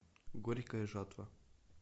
горькая жатва